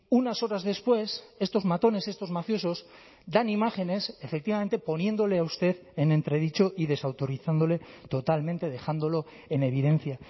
unas horas después estos matones estos mafiosos dan imágenes efectivamente poniéndole a usted en entredicho y desautorizándole totalmente dejándolo en evidencia